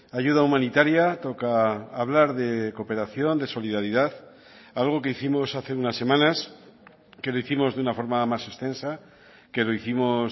ayuda humanitaria toca hablar de cooperación de solidaridad algo que hicimos hace unas semanas que lo hicimos de una forma más extensa que lo hicimos